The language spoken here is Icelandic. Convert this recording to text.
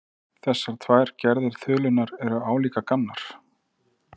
Þessar tvær gerðir þulunnar eru álíka gamlar.